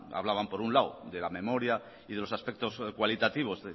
hablaban por un lado de la memoria y de los aspectos cualitativos